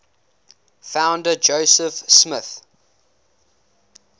founder joseph smith